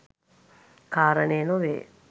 කාරණය නොවේ.